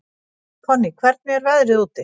Konný, hvernig er veðrið úti?